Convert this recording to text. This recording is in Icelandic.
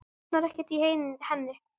Hann botnar ekkert í henni.